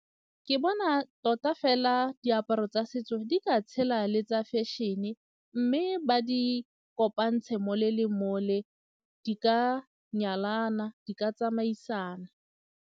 Ke bona tota fela diaparo tsa setso di ka tshela le tsa fashion-e mme ba di kopantshe mole le mole di ka nyalana, di ka tsamaisana.